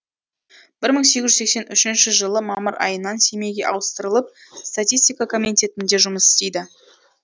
бір мың сегіз жүз сексен үшінші жылы мамыр айынан семейге ауыстырылып статистика комитетінде жұмыс істеді